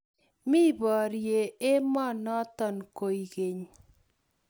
mi borye emonoto kwekeny